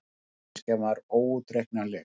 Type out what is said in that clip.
En manneskjan var óútreiknanleg.